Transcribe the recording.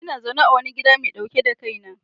Ina zaune a wani gida mai dauke da kaina